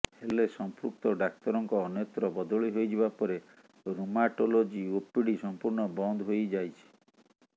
ହେଲେ ସଂପୃକ୍ତ ଡାକ୍ତରଙ୍କ ଅନ୍ୟତ୍ର ବଦଳି ହୋଇଯିବା ପରେ ରୢୁମାଟୋଲୋଜି ଓପିଡି ସଂପୂର୍ଣ୍ଣ ବନ୍ଦ ହୋଇଯାଇଛି